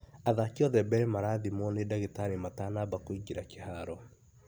Athaki othe mbele marathimwo nĩ dagĩtarĩ matanaba kwĩngĩra kĩharo